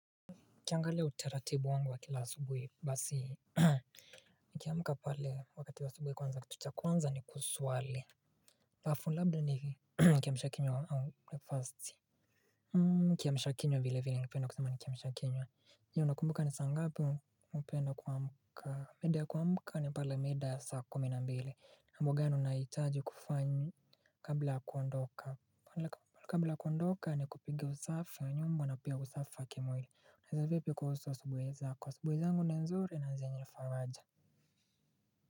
Ukiangalia utaratibu wangu wa kila asubuhi basi. Nikiamka pale wakati wa asubuhi kwanza kitu cha kwanza ni kuswali alafu labda ni kiamshakinywa au breakfast Hmm kiamshakinywa vile vile ningependa kusema ni kiamshakinywa. Hiyo unakumbuka ni saa ngapi hupenda kuamka mida ya kuamka ni pale mida ya saa kumi na mbili na mambo gani unahitaji kufanya kabla kuondoka kabla kuondoka ni kupiga usafi ya nyumba na pia usafi wa kimwili, unaeza vipi kuhusu asubuhi zako kwa abubuhi zangu ni nzuri na zenye faraja.